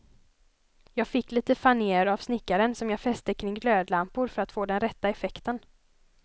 Jag fick lite fanér av snickaren, som jag fäste kring glödlampor för att få den rätta effekten.